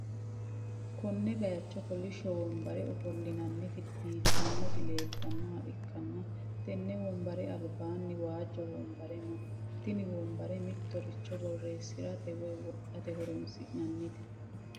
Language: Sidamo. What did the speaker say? konne bayicho kolishshpo wonbare ofolli'nanniti biiffannoti leeltannoha ikkanna, tenne wonbare albaanni waajjo wonbare no, tini wonbare mittoricho borreessi'rate woy wodhate horonsi'nannite.